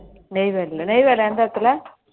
நெய்வேலில நெய்வேலில எந்த இடத்துல